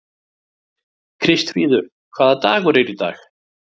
Kristfríður, hvaða dagur er í dag?